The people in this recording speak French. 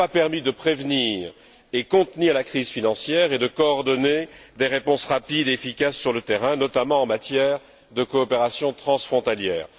Il n'a pas permis de prévenir ni de contenir la crise financière, ni de coordonner des réponses rapides et efficaces sur le terrain, notamment en matière de coopération transfrontalière.